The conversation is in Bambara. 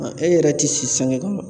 e yɛrɛ tɛ si sange kɔnɔ